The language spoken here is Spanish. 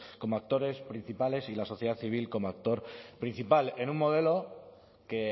como actores principales y la sociedad civil como actor principal en un modelo que